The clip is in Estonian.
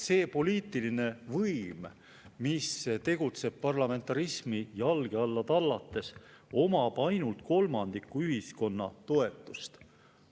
See poliitiline võim, mis tegutseb parlamentarismi jalge alla tallates, omab ainult kolmandiku ühiskonna toetust.